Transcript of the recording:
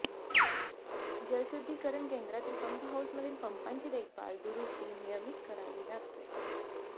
जलशुद्धीकरण केंद्रातील पंपहाउसमधील पंपांची देखभाल दुरुस्ती नियमित करावी लागते